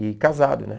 E casado, né?